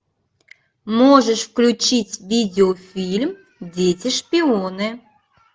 можешь включить видеофильм дети шпионы